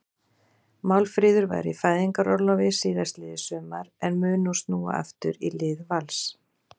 Málfríður var í fæðingarorlofi síðastliðið sumar en mun nú snúa aftur í lið Vals.